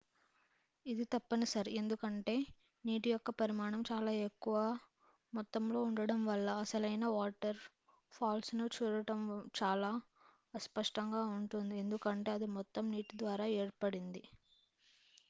ఇది తప్పనిసరి ఎందుకంటే నీటి యొక్క పరిమాణం చాలా ఎక్కువ మొత్తంలో ఉండడం వల్ల అసలైన వాటర్ ఫాల్ను చూడటం చాలా అస్పష్టంగా ఉంటుంది-ఎందుకంటే ఇది మొత్తం నీటి ద్వారా ఏర్పడినది